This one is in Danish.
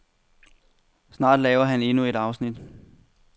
Snart laver han endnu et afsnit.